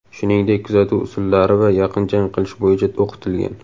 shuningdek kuzatuv usullari va yaqin jang qilish bo‘yicha o‘qitilgan.